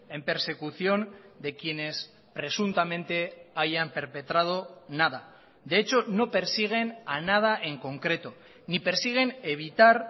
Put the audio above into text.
en persecución de quienes presuntamente hayan perpetrado nada de hecho no persiguen a nada en concreto ni persiguen evitar